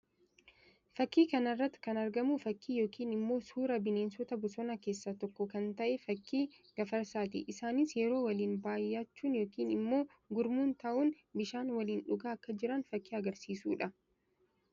Fakkii kana irratti kan argamu fakkii yookiin immoo suuraa bineensota bosonaa keessaa tokko kan tahe fakkii Gafarsaati. Isaanis yeroo waliin baayyachuun yookiin immoo gurmuun tahuun bishaan waliin dhugaa akka jiran fakkii agarsiisuu dha.